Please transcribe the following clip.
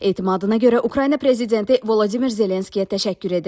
Etimadına görə Ukrayna prezidenti Vladimir Zelenskiyə təşəkkür edirəm.